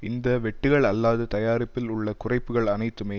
இந்த வெட்டுக்கள் அல்லது தயாரிப்பில் உள்ள குறைப்புக்கள் அனைத்துமே